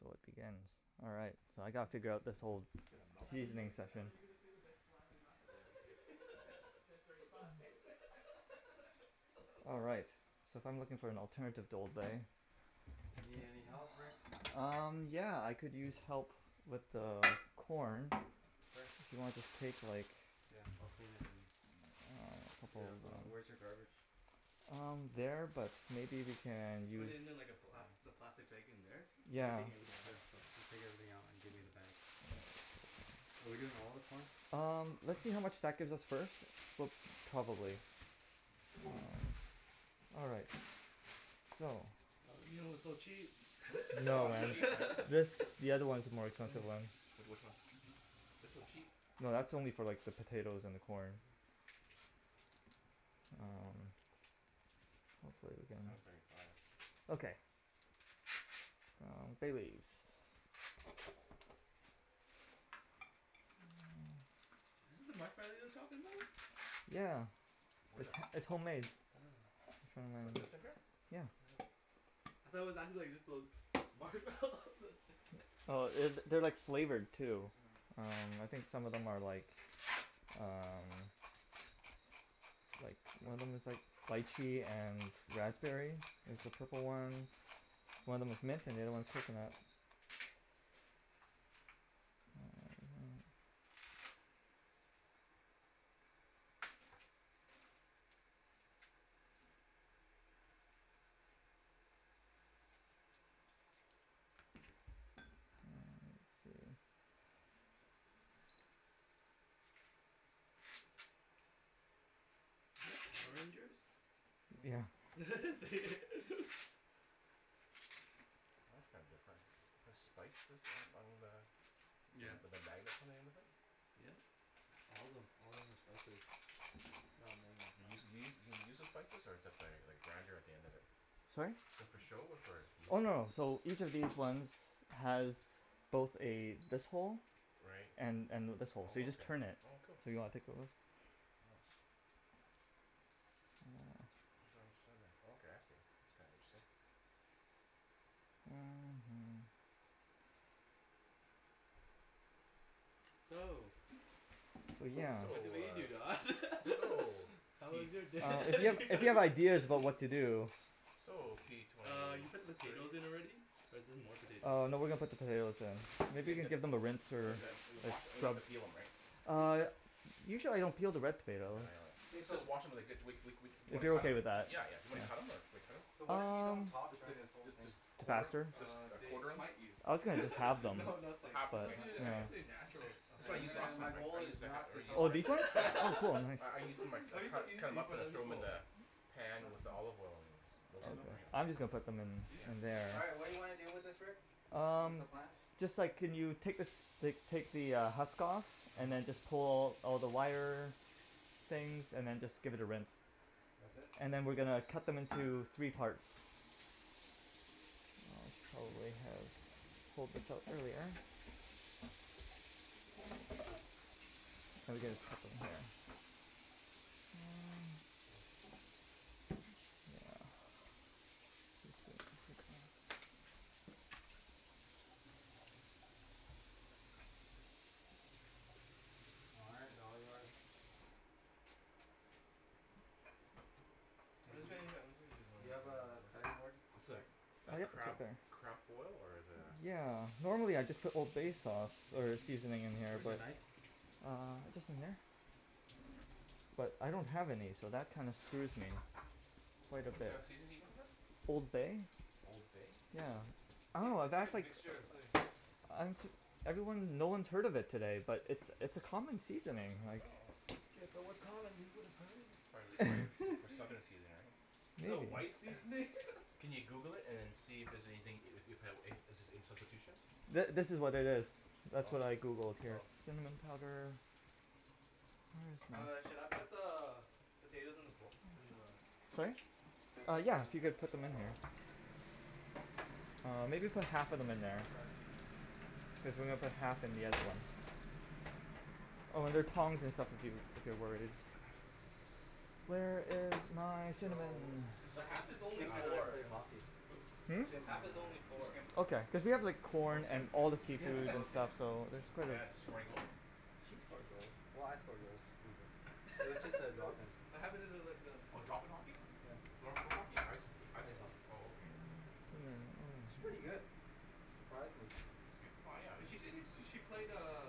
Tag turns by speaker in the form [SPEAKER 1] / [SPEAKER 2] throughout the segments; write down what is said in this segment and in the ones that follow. [SPEAKER 1] So it begins. Alright. So I gotta figure out this whole
[SPEAKER 2] I gotta mouse
[SPEAKER 3] I thought
[SPEAKER 2] on my
[SPEAKER 3] you,
[SPEAKER 1] seasoning
[SPEAKER 2] back.
[SPEAKER 3] I
[SPEAKER 1] session.
[SPEAKER 3] thought you were gonna say the next line or last
[SPEAKER 2] Yeah
[SPEAKER 3] line
[SPEAKER 2] me too ten thirty five.
[SPEAKER 1] All right. So if I am looking for an alternative to old bay.
[SPEAKER 4] You need any help Rick?
[SPEAKER 2] got the chicken.
[SPEAKER 1] Um yeah I could use help with the corn
[SPEAKER 4] Sure.
[SPEAKER 1] and I'll just take like
[SPEAKER 4] Yeah I'll clean it then. Yeah wh- where's your garbage?
[SPEAKER 1] Um there, but maybe we can
[SPEAKER 3] Put
[SPEAKER 1] use
[SPEAKER 3] it in like a black, the
[SPEAKER 4] Yeah
[SPEAKER 3] plastic bag in there? Cuz we're
[SPEAKER 1] yeah.
[SPEAKER 3] taking everything
[SPEAKER 4] Yeah
[SPEAKER 3] out so
[SPEAKER 4] so just take everything out and give me the bag. Are we doing all of the corn?
[SPEAKER 1] Um let's see how much that gives us first, but probably. All right so.
[SPEAKER 3] Oh you know it's so cheap.
[SPEAKER 1] No man this- the other ones are more expensive ones.
[SPEAKER 2] Like which one? They're so cheap.
[SPEAKER 1] No that's only for like the potatoes and the corn. Um hopefully we can
[SPEAKER 2] Seven thirty five
[SPEAKER 1] Okay um bay leaves
[SPEAKER 3] Is this the marshmallow you were talking about?
[SPEAKER 1] Yeah
[SPEAKER 2] Where?
[SPEAKER 1] it's- it's homemade.
[SPEAKER 3] Oh
[SPEAKER 2] What, this in here?
[SPEAKER 1] Yeah
[SPEAKER 3] Hmm I thought it was actually just like those marshmallows
[SPEAKER 1] Oh
[SPEAKER 3] that's it
[SPEAKER 1] it- they're like flavored too. Um I
[SPEAKER 3] Hmm
[SPEAKER 1] think some of them are like um like one of them is like lychee and raspberry is the
[SPEAKER 2] Hmm
[SPEAKER 1] purple ones, one of them's mint and the other one is coconut. Um let's see
[SPEAKER 3] Is that Power Ranger's?
[SPEAKER 1] Yeah
[SPEAKER 3] is it?
[SPEAKER 2] Oh that's kinda different. Is this spices on- on the
[SPEAKER 3] Yeah
[SPEAKER 2] with the magnets on the end of it?
[SPEAKER 3] Yep all of them, all of them are spices. They're all
[SPEAKER 2] You use
[SPEAKER 3] magnets
[SPEAKER 2] you you you use the spices or is th- that like a grinder at the end of it?
[SPEAKER 1] Sorry?
[SPEAKER 2] Is that for show or for use?
[SPEAKER 1] Oh no so each of these ones has both a this hole
[SPEAKER 2] Right
[SPEAKER 1] and and this hole. So you just turn it.
[SPEAKER 2] oh okay oh cool.
[SPEAKER 1] Do you wanna take a look?
[SPEAKER 2] Yeah Oh ground cinnamon oh okay I see. That's kinda interesting.
[SPEAKER 3] So,
[SPEAKER 1] So yeah
[SPEAKER 3] so
[SPEAKER 2] So
[SPEAKER 3] I believe you Don.
[SPEAKER 2] ah so
[SPEAKER 3] How
[SPEAKER 1] Uh
[SPEAKER 3] was
[SPEAKER 2] p-
[SPEAKER 3] your day?
[SPEAKER 1] if
[SPEAKER 2] p-
[SPEAKER 1] you, if you have ideas about what to do.
[SPEAKER 2] So p twenty
[SPEAKER 3] Uh you put the
[SPEAKER 2] two
[SPEAKER 3] potatoes in already, or is this more potatoes?
[SPEAKER 1] Uh no we are going to put the potatoes in. Maybe you could give them a rinse or a
[SPEAKER 3] Okay
[SPEAKER 2] wash, we don't have
[SPEAKER 1] scrub.
[SPEAKER 2] to peel them right?
[SPEAKER 1] Uh usually I don't peel the red
[SPEAKER 2] No,
[SPEAKER 1] potato.
[SPEAKER 2] yeah I know that.
[SPEAKER 4] K
[SPEAKER 2] Let's
[SPEAKER 4] so
[SPEAKER 2] just wash em and they're good we- we- we- we
[SPEAKER 1] If
[SPEAKER 2] cu-
[SPEAKER 1] you're okay with ,
[SPEAKER 2] yeah
[SPEAKER 1] that. Yeah
[SPEAKER 2] yeah yeah and then cut em or do we cut em?
[SPEAKER 4] So
[SPEAKER 2] Should we
[SPEAKER 4] what
[SPEAKER 2] cut
[SPEAKER 4] if we don't
[SPEAKER 1] Um
[SPEAKER 4] talk
[SPEAKER 2] them?
[SPEAKER 4] during this whole
[SPEAKER 2] let's jus-
[SPEAKER 4] thing?
[SPEAKER 2] just quarter them,
[SPEAKER 1] faster?
[SPEAKER 2] jus-
[SPEAKER 3] Uh
[SPEAKER 2] just
[SPEAKER 3] they
[SPEAKER 2] quarter them?
[SPEAKER 3] smite you.
[SPEAKER 1] I was gonna just halve them
[SPEAKER 3] no
[SPEAKER 2] or
[SPEAKER 3] nothing
[SPEAKER 2] half
[SPEAKER 3] it's
[SPEAKER 1] but
[SPEAKER 2] okay
[SPEAKER 3] suppose-
[SPEAKER 1] you
[SPEAKER 2] yeah
[SPEAKER 3] it's
[SPEAKER 1] know
[SPEAKER 2] yeah
[SPEAKER 3] supposed to be
[SPEAKER 4] Nothing?
[SPEAKER 3] natural.
[SPEAKER 2] that's what I
[SPEAKER 4] Okay
[SPEAKER 2] used
[SPEAKER 4] then I-
[SPEAKER 2] last
[SPEAKER 4] my
[SPEAKER 2] time right? I
[SPEAKER 4] goal
[SPEAKER 2] used
[SPEAKER 4] is
[SPEAKER 2] the ha-
[SPEAKER 4] not
[SPEAKER 2] or
[SPEAKER 4] to
[SPEAKER 2] used
[SPEAKER 1] Oh
[SPEAKER 4] talk.
[SPEAKER 1] these ones?
[SPEAKER 2] the
[SPEAKER 1] Oh cool, nice
[SPEAKER 2] I- I used to cu- cut them up and throw them in the pan with the olive oil and
[SPEAKER 1] Okay
[SPEAKER 2] roasted them right.
[SPEAKER 1] I'm just gonna put them
[SPEAKER 2] Yeah
[SPEAKER 1] in- in there.
[SPEAKER 4] All right what do you wanna do with this Rick? What's
[SPEAKER 1] Um,
[SPEAKER 4] the plan?
[SPEAKER 1] just a sec can you take like take the husk off and then just
[SPEAKER 4] uh-huh
[SPEAKER 1] pull all the wire things and then just give it a rinse
[SPEAKER 4] That's it?
[SPEAKER 1] and then we are going to cut them into three parts. And I'll just probably Now we gotta cut them here. Um
[SPEAKER 4] All right they're all yours. Hey do you, do you have a cutting board?
[SPEAKER 2] I'm sorry a
[SPEAKER 1] Ah yep, it's
[SPEAKER 2] crab,
[SPEAKER 1] right there.
[SPEAKER 2] crab boil or is it a?
[SPEAKER 1] Yeah, normally I just put old bay sauce or seasoning in here
[SPEAKER 4] Where's your
[SPEAKER 1] but
[SPEAKER 4] knife?
[SPEAKER 1] Uh just in here I don't have any so that kinda screws me, quite a
[SPEAKER 2] What
[SPEAKER 1] bit.
[SPEAKER 2] a seasoning are you looking for?
[SPEAKER 1] Old bay
[SPEAKER 2] Old bay?
[SPEAKER 1] yeah
[SPEAKER 3] It's like-
[SPEAKER 1] oh
[SPEAKER 3] it's like a
[SPEAKER 1] that's like,
[SPEAKER 3] mixture of something.
[SPEAKER 1] I'm jus- everyone- no one has heard of it today, but it's it's a common seasoning
[SPEAKER 2] I
[SPEAKER 1] like
[SPEAKER 2] know
[SPEAKER 4] Yeah if it was common we woulda heard of
[SPEAKER 2] Prob- prolly for
[SPEAKER 4] it.
[SPEAKER 2] southern seasoning
[SPEAKER 3] Is
[SPEAKER 2] right
[SPEAKER 3] it a
[SPEAKER 1] maybe
[SPEAKER 3] white seasoning?
[SPEAKER 2] Can you Google it and then see if- if there's anything, if- if there's any substitutions?
[SPEAKER 1] Th- this is what it is. That's what I
[SPEAKER 2] Oh
[SPEAKER 1] Googled here.
[SPEAKER 2] oh
[SPEAKER 1] Cinnamon powder Where is my?
[SPEAKER 3] All right, should I put the potatoes in the bo- in the
[SPEAKER 1] Sorry? Uh yeah if you could put them in
[SPEAKER 2] uh
[SPEAKER 1] here.
[SPEAKER 2] oh
[SPEAKER 1] Uh maybe put half of them in there
[SPEAKER 4] Oh sorry
[SPEAKER 1] cuz then we'll put half in the other one. Oh there are tongs and stuff if you if you're worried. Where is my cinnamon?
[SPEAKER 4] So
[SPEAKER 2] Just a
[SPEAKER 3] The
[SPEAKER 2] second
[SPEAKER 3] half is only
[SPEAKER 4] Kim
[SPEAKER 2] yeah
[SPEAKER 4] and I
[SPEAKER 3] four,
[SPEAKER 4] pay hockey
[SPEAKER 1] Hmm?
[SPEAKER 2] Hmm?
[SPEAKER 4] Kim
[SPEAKER 3] half
[SPEAKER 4] and
[SPEAKER 3] is only
[SPEAKER 4] I
[SPEAKER 2] Which
[SPEAKER 3] four.
[SPEAKER 2] Kim?
[SPEAKER 1] Okay cuz we have like
[SPEAKER 2] oh
[SPEAKER 1] corn
[SPEAKER 2] Kim
[SPEAKER 1] and all the
[SPEAKER 2] Kim
[SPEAKER 4] Kim
[SPEAKER 1] seafood
[SPEAKER 3] Yeah
[SPEAKER 1] and
[SPEAKER 3] okay
[SPEAKER 1] stuff so it's quite a
[SPEAKER 2] Yeah did she score any goals?
[SPEAKER 4] She scored goals, well I score goals too but it was just a drop in.
[SPEAKER 3] What happen to like the
[SPEAKER 2] Oh drop in hockey?
[SPEAKER 4] Yeah
[SPEAKER 2] floor- floor hockey? I- ice hockey ice
[SPEAKER 4] ice
[SPEAKER 2] hockey?
[SPEAKER 4] hockey
[SPEAKER 2] oh okay
[SPEAKER 4] She's pretty good, surprised me.
[SPEAKER 2] She's good well yeah
[SPEAKER 3] She seems when she played uh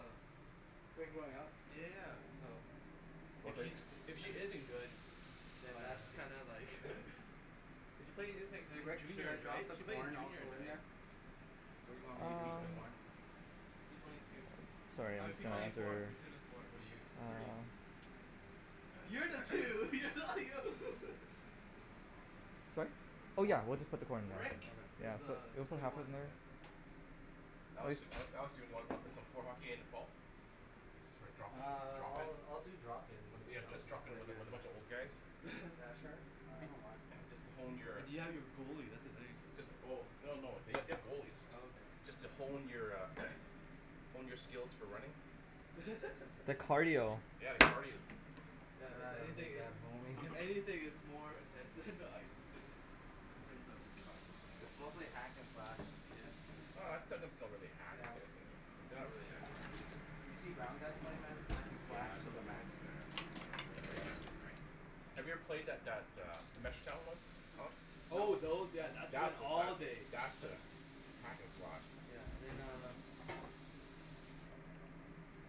[SPEAKER 4] Played growing up
[SPEAKER 3] Yeah so if she if she isn't good
[SPEAKER 4] Oh
[SPEAKER 3] then
[SPEAKER 4] yeah
[SPEAKER 3] that's
[SPEAKER 4] then
[SPEAKER 3] kinda like cuz she played
[SPEAKER 4] Hey
[SPEAKER 3] since
[SPEAKER 4] Rick? Should I
[SPEAKER 3] juniors
[SPEAKER 4] drop
[SPEAKER 3] right?
[SPEAKER 4] the
[SPEAKER 3] She played in
[SPEAKER 4] corn
[SPEAKER 3] juniors
[SPEAKER 4] also
[SPEAKER 3] right?
[SPEAKER 4] in there? What do you want
[SPEAKER 2] Is
[SPEAKER 4] me
[SPEAKER 2] he
[SPEAKER 4] to
[SPEAKER 2] p
[SPEAKER 4] do with
[SPEAKER 1] Um
[SPEAKER 4] the
[SPEAKER 2] twenty one?
[SPEAKER 4] corn?
[SPEAKER 3] P twenty two
[SPEAKER 1] sorry
[SPEAKER 3] I
[SPEAKER 1] I'm
[SPEAKER 3] mean
[SPEAKER 1] just
[SPEAKER 3] P
[SPEAKER 1] gonna
[SPEAKER 3] twenty four,
[SPEAKER 1] after
[SPEAKER 3] P twenty four
[SPEAKER 2] What are you?
[SPEAKER 3] Three
[SPEAKER 1] um
[SPEAKER 2] Oh that's right
[SPEAKER 3] You're the two, you're not
[SPEAKER 1] Sorry? Oh yeah we'll just put the corn in there
[SPEAKER 3] Rick
[SPEAKER 1] yeah
[SPEAKER 3] is
[SPEAKER 1] pu-
[SPEAKER 3] uh
[SPEAKER 4] Okay
[SPEAKER 1] we'll put
[SPEAKER 3] twenty
[SPEAKER 1] half of
[SPEAKER 3] one.
[SPEAKER 1] them in there.
[SPEAKER 2] Yeah Alex- Alex do wanna pl- play some floor hockey at the end of fall? Just for drop in,
[SPEAKER 4] Ah
[SPEAKER 2] drop in?
[SPEAKER 4] I'll- I'll do drop in
[SPEAKER 2] Yeah just drop in with a, with a bunch of old guys?
[SPEAKER 4] Yeah sure I don't mind
[SPEAKER 2] Just to hone your,
[SPEAKER 3] But you have your goalie that's the thing.
[SPEAKER 2] jus- oh, oh no they- they have
[SPEAKER 3] Oh
[SPEAKER 2] goalies.
[SPEAKER 3] okay
[SPEAKER 2] Just to hone your a, hone your skills for running.
[SPEAKER 1] The cardio
[SPEAKER 3] Yeah if
[SPEAKER 4] Yeah I
[SPEAKER 3] anything
[SPEAKER 4] need
[SPEAKER 3] it's,
[SPEAKER 4] that honing.
[SPEAKER 3] if anything it's more intense than the ice, in terms of cardio.
[SPEAKER 4] It's mostly hack and slash.
[SPEAKER 3] Yeah
[SPEAKER 2] Oh it's not really hack.
[SPEAKER 4] Yeah
[SPEAKER 2] It's a-
[SPEAKER 4] wh-
[SPEAKER 2] but they're not really that aggressive.
[SPEAKER 4] you seen brown guys play man hack and slash
[SPEAKER 2] Yeah
[SPEAKER 4] to
[SPEAKER 2] those
[SPEAKER 4] the
[SPEAKER 2] guys
[SPEAKER 4] max.
[SPEAKER 2] are, are pretty aggressive right? Have you ever played that, that a
[SPEAKER 3] Oh those, yeah that's
[SPEAKER 2] That's a,
[SPEAKER 3] days
[SPEAKER 2] that's a hack and slash.
[SPEAKER 3] Yeah and then uh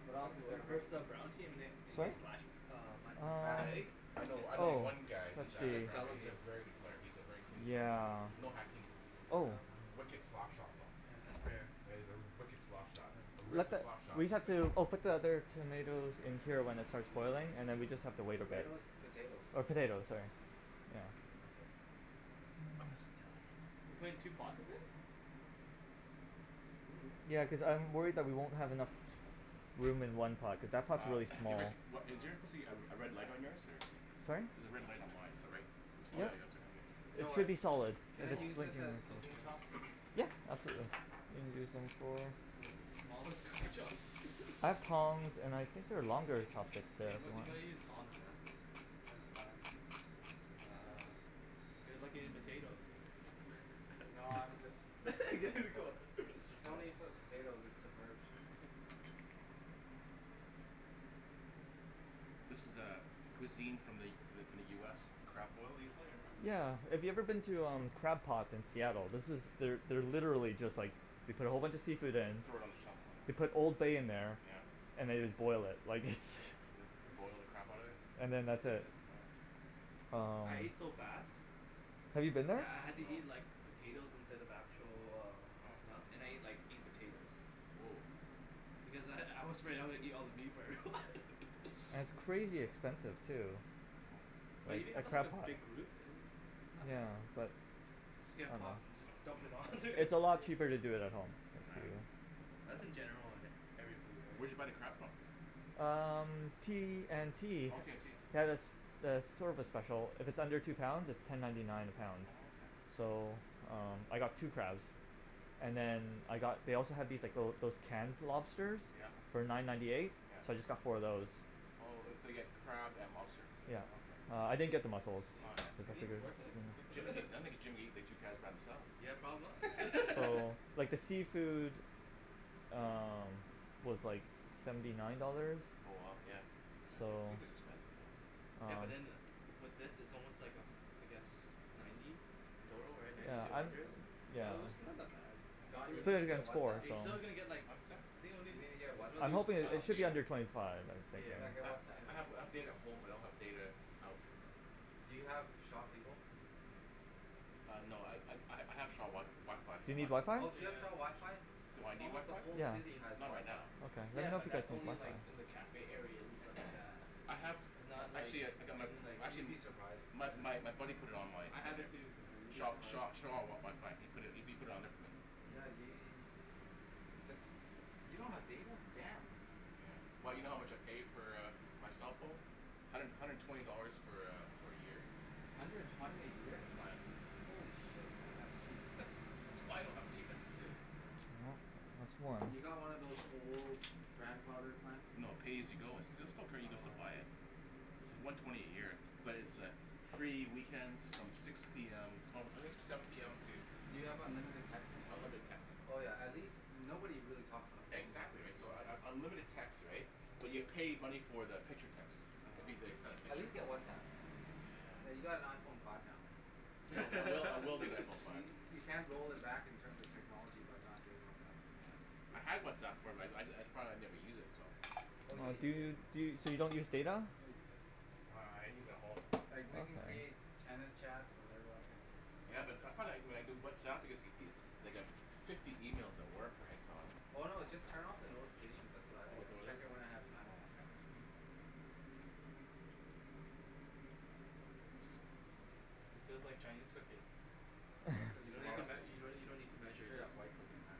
[SPEAKER 4] What else is there
[SPEAKER 3] we
[SPEAKER 4] Rick?
[SPEAKER 3] versed that brown team and they slashed
[SPEAKER 2] Mhm
[SPEAKER 3] uh my
[SPEAKER 1] Um
[SPEAKER 4] I'm fast
[SPEAKER 3] leg
[SPEAKER 2] I know, I know
[SPEAKER 1] oh
[SPEAKER 2] one guy
[SPEAKER 4] You
[SPEAKER 2] who's
[SPEAKER 1] let's
[SPEAKER 2] a,
[SPEAKER 4] should
[SPEAKER 1] see
[SPEAKER 4] just
[SPEAKER 2] he's a
[SPEAKER 4] delegate.
[SPEAKER 2] very good player, he's a very clean
[SPEAKER 3] Mm
[SPEAKER 2] player,
[SPEAKER 3] yeah?
[SPEAKER 1] yeah
[SPEAKER 2] no hacking,
[SPEAKER 1] oh
[SPEAKER 2] wicked slap shot though,
[SPEAKER 3] Yeah that's rare yeah
[SPEAKER 2] yeah he's a wicked slap shot, a
[SPEAKER 1] We have
[SPEAKER 2] wicked
[SPEAKER 1] to
[SPEAKER 2] slap shot
[SPEAKER 1] we
[SPEAKER 2] just
[SPEAKER 1] have
[SPEAKER 2] sayin.
[SPEAKER 1] to oh put the other
[SPEAKER 3] hm
[SPEAKER 1] tomatoes in until it starts boiling then we just have to wait a bit.
[SPEAKER 4] Tomatoes? Potatoes
[SPEAKER 1] Or potatoes sorry you know
[SPEAKER 4] All good
[SPEAKER 3] Oh
[SPEAKER 2] I'm gonna sit down.
[SPEAKER 3] we're putting two pots of it?
[SPEAKER 1] Ya cuz I'm worried that we won't have enough room in one pot cuz that pots
[SPEAKER 2] Uh
[SPEAKER 1] really small.
[SPEAKER 2] Rick, wha- is there supposed to be a- a red light on yours or?
[SPEAKER 1] Sorry?
[SPEAKER 2] There's a red light on mine is that right? Oh yeah
[SPEAKER 1] Yep
[SPEAKER 2] you have it too
[SPEAKER 1] It
[SPEAKER 2] okay.
[SPEAKER 1] should
[SPEAKER 4] Rick
[SPEAKER 1] be solid.
[SPEAKER 4] can I
[SPEAKER 2] Solid
[SPEAKER 4] use this as cooking chopsticks?
[SPEAKER 3] Yeah
[SPEAKER 1] Yeah absolutely
[SPEAKER 3] Those are like the smallest cooking
[SPEAKER 1] I have tongs and I think there are longer chopsticks there if
[SPEAKER 3] You
[SPEAKER 1] you
[SPEAKER 3] gotta- you
[SPEAKER 1] want.
[SPEAKER 3] gotta use tongs man.
[SPEAKER 4] That's fine.
[SPEAKER 3] Uh, they're like potatoes
[SPEAKER 4] No I'm just mixing it
[SPEAKER 3] There ya
[SPEAKER 4] before.
[SPEAKER 3] go
[SPEAKER 4] There's no need for the potatoes, it's submerged.
[SPEAKER 2] This is a- cuisine from the- from the U S crab boil usually or
[SPEAKER 1] Yeah if you
[SPEAKER 2] a?
[SPEAKER 1] have ever been to Crab Pot in Seattle this is, they're literally just like, they put a whole bunch of seafood in,
[SPEAKER 2] And throw it on the top
[SPEAKER 1] they put
[SPEAKER 2] oh
[SPEAKER 1] old bay in there
[SPEAKER 2] yeah
[SPEAKER 1] and they just boil it, like its
[SPEAKER 2] Just boil the crap out of
[SPEAKER 3] Hm
[SPEAKER 2] it?
[SPEAKER 1] and then that's it
[SPEAKER 3] yeah
[SPEAKER 2] Oh
[SPEAKER 1] um.
[SPEAKER 3] I ate so fast,
[SPEAKER 1] Have you been there?
[SPEAKER 3] that I had to eat
[SPEAKER 2] No
[SPEAKER 3] like potatoes instead of actual uh stuff and I
[SPEAKER 2] Why?
[SPEAKER 3] ate like eight potatoes
[SPEAKER 2] Whoa
[SPEAKER 3] because I- I was afraid I was gonna eat all the meat before everyone.
[SPEAKER 1] And it's crazy expensive too
[SPEAKER 3] But when
[SPEAKER 2] Oh
[SPEAKER 3] you
[SPEAKER 1] a-
[SPEAKER 3] know I
[SPEAKER 1] at
[SPEAKER 3] never had,
[SPEAKER 1] Crab
[SPEAKER 3] a
[SPEAKER 1] Pot.
[SPEAKER 3] big group, uh not
[SPEAKER 1] Yeah
[SPEAKER 3] bad.
[SPEAKER 1] but
[SPEAKER 3] Just
[SPEAKER 1] I
[SPEAKER 3] get a
[SPEAKER 1] dunno
[SPEAKER 3] pot and just dump it all in there.
[SPEAKER 1] It's a lot cheaper to do it at home.
[SPEAKER 2] Oh yeah
[SPEAKER 3] That's in general on every food
[SPEAKER 2] Where'd
[SPEAKER 3] right?
[SPEAKER 2] you buy the crab from?
[SPEAKER 1] Um T&T
[SPEAKER 2] Oh T&T
[SPEAKER 1] they have a have a service special, if it's under two pounds it's ten ninety nine a
[SPEAKER 2] Oh-
[SPEAKER 1] pound.
[SPEAKER 2] oh okay
[SPEAKER 3] Hm
[SPEAKER 1] So um I got two crabs and then I got they also had these like little those canned lobsters
[SPEAKER 2] Yep yep
[SPEAKER 1] for nine ninety eight so I just got four of those.
[SPEAKER 2] Oh- oh so you got crab and lobster
[SPEAKER 1] Yep Uh I
[SPEAKER 2] okay.
[SPEAKER 1] didn't get the
[SPEAKER 3] Is
[SPEAKER 1] muscles.
[SPEAKER 2] Oh yeah that's
[SPEAKER 3] he, is
[SPEAKER 2] okay.
[SPEAKER 3] he worth it?
[SPEAKER 2] I think Jim, I think Jim coulda ate the two crabs by himself.
[SPEAKER 3] Yeah probably
[SPEAKER 1] So like the seafood um was like seventy nine dollars.
[SPEAKER 2] Oh wow, yeah
[SPEAKER 1] So
[SPEAKER 2] seafood's expensive man.
[SPEAKER 3] Yeah
[SPEAKER 1] um
[SPEAKER 3] but in with this, is almost like a I guess ninety dough right
[SPEAKER 2] Oh
[SPEAKER 3] ninety
[SPEAKER 1] Yeah
[SPEAKER 3] to a
[SPEAKER 1] I'm
[SPEAKER 3] hundred?
[SPEAKER 1] yeah
[SPEAKER 3] Although it's not that bad.
[SPEAKER 1] It's
[SPEAKER 3] But
[SPEAKER 4] Don, you
[SPEAKER 1] a good
[SPEAKER 2] Oh
[SPEAKER 1] thing
[SPEAKER 4] need to
[SPEAKER 1] I
[SPEAKER 4] get
[SPEAKER 1] got four
[SPEAKER 4] Whatsapp.
[SPEAKER 3] you
[SPEAKER 1] so
[SPEAKER 2] Huh
[SPEAKER 3] still didn't get like,
[SPEAKER 2] what was that?
[SPEAKER 3] I think only
[SPEAKER 4] You need to get
[SPEAKER 2] I
[SPEAKER 1] I'm
[SPEAKER 4] Whatsapp.
[SPEAKER 1] hoping
[SPEAKER 2] don't
[SPEAKER 1] i- it
[SPEAKER 2] have
[SPEAKER 1] should be
[SPEAKER 2] data.
[SPEAKER 1] under twenty five I'm thinking.
[SPEAKER 4] Yeah get
[SPEAKER 2] I-
[SPEAKER 3] Yeah
[SPEAKER 4] Whatsapp
[SPEAKER 2] I have
[SPEAKER 3] yeah
[SPEAKER 2] data at home but I don't have data out.
[SPEAKER 4] Do you have Shaw cable?
[SPEAKER 2] Ah no I ha- I have Sha- Shaw WiFi
[SPEAKER 1] Do you
[SPEAKER 2] on
[SPEAKER 1] need
[SPEAKER 2] there.
[SPEAKER 1] WiFi?
[SPEAKER 4] Oh do you have Shaw WiFi?
[SPEAKER 3] Yeah
[SPEAKER 2] Do I need
[SPEAKER 4] Almost the
[SPEAKER 2] WiFi?
[SPEAKER 4] whole
[SPEAKER 1] Yeah
[SPEAKER 4] city has
[SPEAKER 2] Not right
[SPEAKER 4] WiFi.
[SPEAKER 2] now.
[SPEAKER 1] okay let
[SPEAKER 3] Yeah
[SPEAKER 1] me know if
[SPEAKER 3] but
[SPEAKER 1] you guys
[SPEAKER 3] that's
[SPEAKER 1] need
[SPEAKER 3] only in
[SPEAKER 1] WiFi.
[SPEAKER 3] like the cafe areas and stuff like that
[SPEAKER 2] I have,
[SPEAKER 3] and not like
[SPEAKER 2] actually I- I got my
[SPEAKER 3] in like
[SPEAKER 4] You'd
[SPEAKER 2] actually
[SPEAKER 4] be surprised.
[SPEAKER 2] my my buddy put it on my
[SPEAKER 3] I have it
[SPEAKER 2] there
[SPEAKER 3] too
[SPEAKER 4] Yeah you'd , be
[SPEAKER 3] so
[SPEAKER 2] Shaw-
[SPEAKER 4] surprised.
[SPEAKER 2] Shaw WiFi ,he pu- put it on there for me.
[SPEAKER 4] Yeah we- jus- you don't have data? Damn.
[SPEAKER 2] Yeah well you know how much I pay for a my cell phone? hundred- hundred and twenty dollars for a for a year.
[SPEAKER 4] Hundred and twenty a year?
[SPEAKER 2] The plan
[SPEAKER 4] Holy shit man that's cheap.
[SPEAKER 2] That's why I don't have data.
[SPEAKER 1] No- no
[SPEAKER 4] Have
[SPEAKER 1] swearing
[SPEAKER 4] you got one of those old grandfather plans?
[SPEAKER 2] No pay as you go it's still- still
[SPEAKER 4] Oh
[SPEAKER 2] buy it.
[SPEAKER 4] I see
[SPEAKER 2] It's the one twenty a year but it's a free weekends from six p m no I think seven p m to
[SPEAKER 4] Do you have unlimited texting at least?
[SPEAKER 2] Unlimited texting
[SPEAKER 4] Oh yeah at least- nobody really talks on the phone these
[SPEAKER 2] Exactly
[SPEAKER 4] days.
[SPEAKER 2] right so un- unlimited text right, but you pay money for the picture text,
[SPEAKER 4] Oh
[SPEAKER 2] if they
[SPEAKER 4] okay
[SPEAKER 2] send a
[SPEAKER 4] At
[SPEAKER 2] picture.
[SPEAKER 4] least get Whatsapp. I mean you
[SPEAKER 2] Yeah
[SPEAKER 4] got an Iphone five now man.
[SPEAKER 2] I will I will get an Iphone five.
[SPEAKER 4] You- you can't roll it back in terms of technology by not getting Whatsapp.
[SPEAKER 2] Yeah I had Whatsapp before, I- I thought I'd never use it so.
[SPEAKER 4] Oh you'll
[SPEAKER 1] Do
[SPEAKER 4] use it,
[SPEAKER 1] you, so you don't use data?
[SPEAKER 4] you'll use it.
[SPEAKER 2] Uh I use at home.
[SPEAKER 4] Like we can
[SPEAKER 1] Okay
[SPEAKER 4] create tennis chats and everyone who
[SPEAKER 2] Ya but I, I found when I do Whatsapp I get like fifty emails at work right so I
[SPEAKER 4] Oh no just turn off the notifications that's what I do
[SPEAKER 2] Oh is that
[SPEAKER 4] and
[SPEAKER 2] what it
[SPEAKER 4] check
[SPEAKER 2] is?
[SPEAKER 4] in when I have time.
[SPEAKER 2] oh okay.
[SPEAKER 3] This feels like Chinese cooking
[SPEAKER 4] No, this is
[SPEAKER 3] you don't need
[SPEAKER 4] straight
[SPEAKER 3] to-
[SPEAKER 4] up,
[SPEAKER 3] you don't need to you don't need to measure
[SPEAKER 4] straight
[SPEAKER 3] just
[SPEAKER 4] up white cooking man.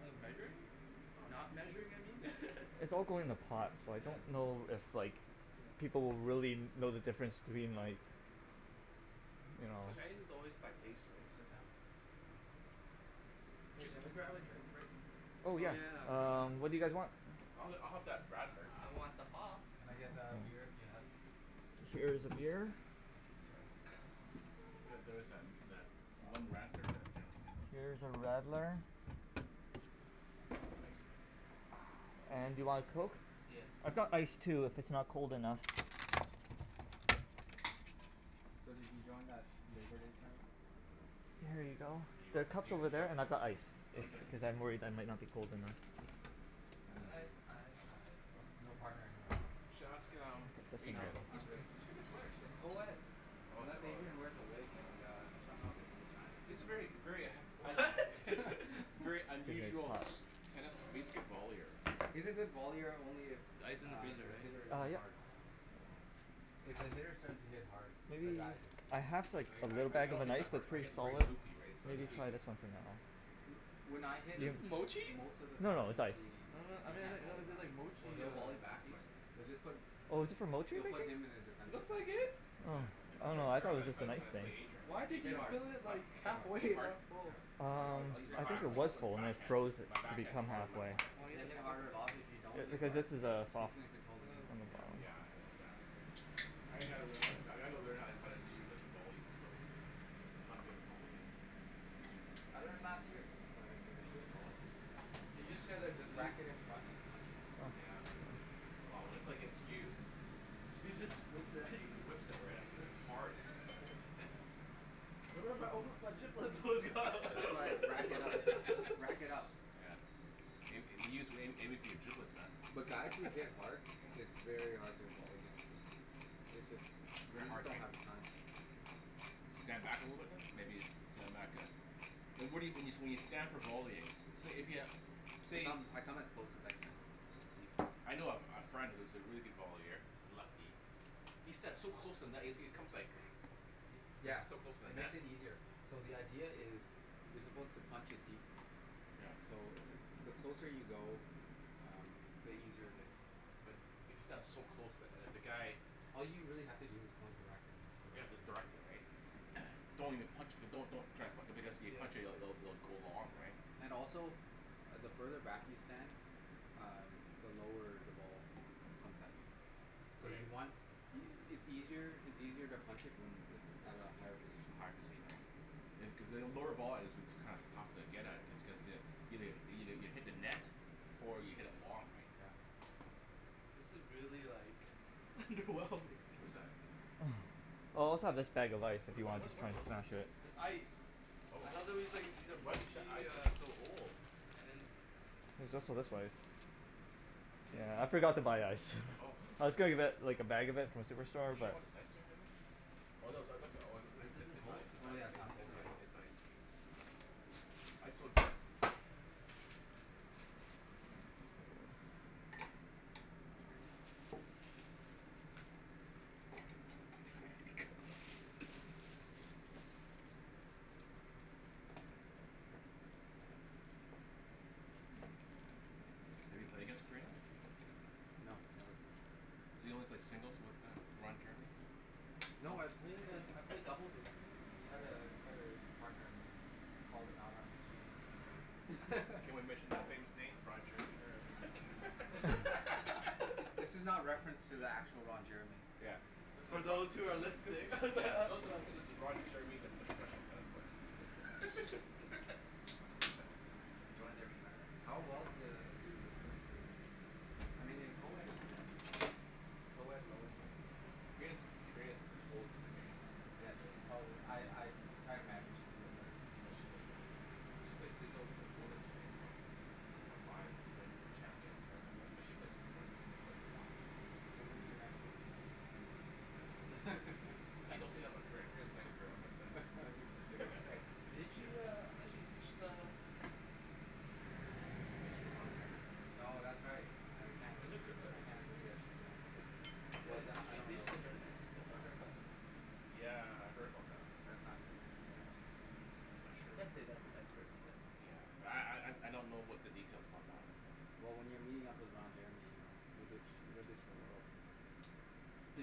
[SPEAKER 3] Oh measuring?
[SPEAKER 4] Oh no
[SPEAKER 3] not measuring I mean yeah mm
[SPEAKER 1] It's all going in a pot so I don't know if like people will really know the difference between like you know?
[SPEAKER 3] Well Chinese is always by pace right?
[SPEAKER 4] Hey can we grab a drink Rick?
[SPEAKER 1] Oh
[SPEAKER 3] Oh
[SPEAKER 1] yeah
[SPEAKER 3] yeah
[SPEAKER 1] um what do you guys
[SPEAKER 3] um
[SPEAKER 2] Oh
[SPEAKER 1] want?
[SPEAKER 2] I'll have I'll have that radler.
[SPEAKER 3] I want the pop.
[SPEAKER 4] Can I get a beer if you have?
[SPEAKER 1] Here is a beer. Here is a radler.
[SPEAKER 4] Thank you sir
[SPEAKER 2] Yeah there was tha- that one radler that Jim seen.
[SPEAKER 1] Here is a radler.
[SPEAKER 2] Thanks
[SPEAKER 1] And do you want a coke?
[SPEAKER 3] Yes
[SPEAKER 1] I've got ice
[SPEAKER 3] please
[SPEAKER 1] too if it's not cold enough.
[SPEAKER 4] So did you join that labour day tournament?
[SPEAKER 2] No
[SPEAKER 1] Here you
[SPEAKER 2] you-
[SPEAKER 1] go. There are
[SPEAKER 2] you
[SPEAKER 1] cups are over there and I've got ice if
[SPEAKER 3] Okay
[SPEAKER 1] cuz I'm worried that might not be cold enough.
[SPEAKER 4] I didn't
[SPEAKER 3] ice, ice, ice
[SPEAKER 4] no, no
[SPEAKER 2] What?
[SPEAKER 4] partner anyways.
[SPEAKER 2] You should ask um
[SPEAKER 4] No
[SPEAKER 2] Adrian.
[SPEAKER 4] I'm good
[SPEAKER 2] He's a pretty good player actually.
[SPEAKER 4] it's coed,
[SPEAKER 2] Oh is-
[SPEAKER 4] unless
[SPEAKER 2] oh
[SPEAKER 4] Adrian wears a wig and
[SPEAKER 2] yeah.
[SPEAKER 4] a somehow gets a vagina.
[SPEAKER 2] He's a very, very
[SPEAKER 3] What?
[SPEAKER 1] K,
[SPEAKER 2] very
[SPEAKER 1] there's your
[SPEAKER 2] unusual
[SPEAKER 1] pop.
[SPEAKER 2] tennis vollier.
[SPEAKER 4] He's a good vollier only if
[SPEAKER 3] Ice is in the
[SPEAKER 4] uh
[SPEAKER 3] freezer
[SPEAKER 4] the
[SPEAKER 3] right?
[SPEAKER 4] hitter
[SPEAKER 1] Ah
[SPEAKER 4] isn't
[SPEAKER 1] yep
[SPEAKER 4] hard.
[SPEAKER 2] Hmm
[SPEAKER 4] If the hitter starts to hit hard, the guy just
[SPEAKER 1] I
[SPEAKER 4] flops.
[SPEAKER 1] have like a
[SPEAKER 2] Really? I-
[SPEAKER 1] little
[SPEAKER 2] I- I
[SPEAKER 1] bag of
[SPEAKER 2] don't
[SPEAKER 1] an
[SPEAKER 2] hit
[SPEAKER 1] ice
[SPEAKER 2] that
[SPEAKER 1] but
[SPEAKER 2] hard,
[SPEAKER 1] it's
[SPEAKER 2] I
[SPEAKER 1] really
[SPEAKER 2] hit
[SPEAKER 1] solid
[SPEAKER 2] very loopy right
[SPEAKER 1] so
[SPEAKER 2] so
[SPEAKER 1] I'm
[SPEAKER 2] he-
[SPEAKER 1] gonna
[SPEAKER 2] he-
[SPEAKER 1] try
[SPEAKER 2] he
[SPEAKER 1] this one for now.
[SPEAKER 4] When I hit
[SPEAKER 3] Is this Motchi?
[SPEAKER 4] most of the
[SPEAKER 1] No no
[SPEAKER 4] times
[SPEAKER 1] it's ice
[SPEAKER 4] he
[SPEAKER 3] I don-
[SPEAKER 4] um
[SPEAKER 3] then
[SPEAKER 4] can't
[SPEAKER 3] why
[SPEAKER 4] volley
[SPEAKER 3] does it say
[SPEAKER 4] back
[SPEAKER 3] like
[SPEAKER 4] or
[SPEAKER 3] Motchi here
[SPEAKER 4] he'll
[SPEAKER 3] on
[SPEAKER 4] volley back
[SPEAKER 3] it
[SPEAKER 4] but they'll just put
[SPEAKER 1] Oh is this for Motchie
[SPEAKER 4] they'll
[SPEAKER 1] do you think?
[SPEAKER 4] put him in a defense
[SPEAKER 3] Looks like
[SPEAKER 4] position.
[SPEAKER 3] it.
[SPEAKER 1] Oh,
[SPEAKER 2] Yeah I- I'm
[SPEAKER 1] oh
[SPEAKER 2] trying
[SPEAKER 1] no
[SPEAKER 2] fig-
[SPEAKER 1] I
[SPEAKER 2] figure
[SPEAKER 1] thought
[SPEAKER 2] how-
[SPEAKER 1] it was just an
[SPEAKER 2] how
[SPEAKER 1] ice
[SPEAKER 2] to pl-
[SPEAKER 1] thing.
[SPEAKER 2] play Adrian but
[SPEAKER 3] Why did
[SPEAKER 4] Hit
[SPEAKER 2] Adrian
[SPEAKER 3] you
[SPEAKER 2] What?
[SPEAKER 4] hard,
[SPEAKER 3] fill it like
[SPEAKER 4] hit
[SPEAKER 3] half way
[SPEAKER 4] hard,
[SPEAKER 2] hit
[SPEAKER 4] hit
[SPEAKER 3] and
[SPEAKER 2] hard?
[SPEAKER 4] hard,
[SPEAKER 3] not full?
[SPEAKER 2] I- I
[SPEAKER 1] Um
[SPEAKER 2] use,
[SPEAKER 4] hit
[SPEAKER 1] I think
[SPEAKER 4] harder
[SPEAKER 1] it
[SPEAKER 2] I
[SPEAKER 1] was
[SPEAKER 2] use my
[SPEAKER 1] full and I
[SPEAKER 2] backhand,
[SPEAKER 1] froze it
[SPEAKER 2] my
[SPEAKER 1] to
[SPEAKER 4] the better
[SPEAKER 2] backhand is
[SPEAKER 1] become
[SPEAKER 2] harder than
[SPEAKER 1] half
[SPEAKER 2] my
[SPEAKER 1] way.
[SPEAKER 2] forehand.
[SPEAKER 4] Then hit harder a lot, but if you don't
[SPEAKER 1] Cu-
[SPEAKER 4] hit
[SPEAKER 1] cuz
[SPEAKER 4] hard
[SPEAKER 1] this is a
[SPEAKER 4] he's
[SPEAKER 1] soft
[SPEAKER 4] going to
[SPEAKER 2] Yeah
[SPEAKER 4] control the game.
[SPEAKER 1] on the
[SPEAKER 2] Yeah
[SPEAKER 3] Oh
[SPEAKER 1] bottom.
[SPEAKER 2] yeah yeah I g- gotta learn, I gotta learn how to- how to do the volley skills. I'm not good at volleying.
[SPEAKER 4] I learned last year. You can learn in a year.
[SPEAKER 2] Volley?
[SPEAKER 4] Yeah
[SPEAKER 3] You just get like
[SPEAKER 4] just
[SPEAKER 3] you
[SPEAKER 4] whack it in front and punch it.
[SPEAKER 2] Yeah well when I play against you,
[SPEAKER 3] He just whips it at
[SPEAKER 2] he
[SPEAKER 3] you.
[SPEAKER 2] whips it right at you hard.
[SPEAKER 4] Yeah That's why I rack it up, rack it up.
[SPEAKER 2] Yeah may- maybe he's aiming for your giblets man.
[SPEAKER 4] But guys that hit
[SPEAKER 2] Yeah
[SPEAKER 4] hard, it's very hard to volley against them it;s jus-
[SPEAKER 2] They're
[SPEAKER 4] you just
[SPEAKER 2] hard
[SPEAKER 4] don't
[SPEAKER 2] right?
[SPEAKER 4] have the time.
[SPEAKER 2] Stand back a little bit then? Maybe stand back yeah Well, what- what you, when you, when you stand for volleying say if you,
[SPEAKER 4] I
[SPEAKER 2] say
[SPEAKER 4] come, I come as close as I can.
[SPEAKER 2] I know a friend, who's a really good vollier, a lefty. He stands so close to the net he comes like, he's
[SPEAKER 4] Yeah
[SPEAKER 2] so close to the
[SPEAKER 4] it
[SPEAKER 2] net.
[SPEAKER 4] makes it easier. So the idea is, you're supposed to punch it deep.
[SPEAKER 2] Yep
[SPEAKER 4] So the closer you go, um the easier it is.
[SPEAKER 2] But, if you stand so close to- if the guy
[SPEAKER 4] All you really have to do is point your racket and just
[SPEAKER 2] Yeah
[SPEAKER 4] direct it.
[SPEAKER 2] just direct it right?
[SPEAKER 4] yeah
[SPEAKER 2] Don't even punch it, don't- don't even try be- cuz if you
[SPEAKER 3] Yeah
[SPEAKER 2] punch it- it'll go long right?
[SPEAKER 4] And also, the further back you stand, um the lower the ball comes at you. So
[SPEAKER 2] Right
[SPEAKER 4] you want y- y- it's easier to punch it at a higher position.
[SPEAKER 2] A higher position right cuz a lower volley is what's kinda tough to get at it just cu- cuz you- you hit the net or you hit it long right?
[SPEAKER 4] Yeah
[SPEAKER 2] Right
[SPEAKER 3] This is really like wrong like
[SPEAKER 2] What is that?
[SPEAKER 1] Oh I also have this bag of ice if
[SPEAKER 2] Whata-
[SPEAKER 1] you
[SPEAKER 2] whata-
[SPEAKER 1] wanna just
[SPEAKER 2] what
[SPEAKER 1] try
[SPEAKER 2] are
[SPEAKER 1] and
[SPEAKER 2] those
[SPEAKER 1] smash
[SPEAKER 2] things?
[SPEAKER 1] it.
[SPEAKER 3] This ice
[SPEAKER 2] Oh, ice is so old.
[SPEAKER 1] There's also this ice, yeah I forgot to buy ice, I was gonna li- like a bag of it from superstore
[SPEAKER 3] She
[SPEAKER 1] but
[SPEAKER 3] wants ice cream in it?
[SPEAKER 4] This isn't cold? Oh yeah not cold yet
[SPEAKER 2] Have you played against Korina?
[SPEAKER 4] No
[SPEAKER 2] So you only played singles with uh Roger?
[SPEAKER 4] No I've played I've played doubles with him, he had a he had a partner who called him out on his cheating.
[SPEAKER 2] Can we mention the famous name Ron Jeremy there.
[SPEAKER 4] This is not reference to the actual Ron Jeremy
[SPEAKER 2] Yeah, this is a
[SPEAKER 3] So
[SPEAKER 2] yeah,
[SPEAKER 3] those who are listening
[SPEAKER 2] those that are listening this is Ron Jeremy the professional tennis player.
[SPEAKER 4] He joins every tournament. How well do do him and Karina do? I mean in co-ed it's different. In co-ed low is
[SPEAKER 2] Karina's Karina's holds the game
[SPEAKER 4] Yeah she's probably I I I imagine she's way better than him.
[SPEAKER 2] Oh she's way better. She plays singles of women's right, so, three point five wins the champion tournament right, she play profe, she plays a lot
[SPEAKER 4] So when's their next movie?
[SPEAKER 2] hey don't say that in my crib, Karina's a nice girl but uh
[SPEAKER 3] Didn't she uh, I thought she ditched uh
[SPEAKER 2] Ditch to Ron Jeremy
[SPEAKER 4] No that's right I
[SPEAKER 3] Was it Kir- uh
[SPEAKER 4] I can't agree that she's nice,
[SPEAKER 3] Yeah,
[SPEAKER 4] but
[SPEAKER 3] did
[SPEAKER 4] I
[SPEAKER 3] she
[SPEAKER 4] don't know
[SPEAKER 3] ditched the
[SPEAKER 4] her.
[SPEAKER 3] tournament, the cup?
[SPEAKER 4] Yeah.
[SPEAKER 2] Yeah, I heard about that.
[SPEAKER 4] That's not good.
[SPEAKER 2] Yeah, I'm not
[SPEAKER 3] I
[SPEAKER 2] sure.
[SPEAKER 3] can't say that's a nice person than.
[SPEAKER 2] Yeah, but I I don't know what the details about that one is, so
[SPEAKER 4] Well when you're meeting up with Ron Jeremy, you ditch, you you'll ditch the world